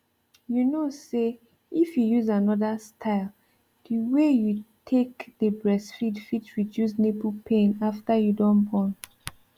you kow say if you use anoda style the way you take dey breastfeed fit reduce nipple pain after you don born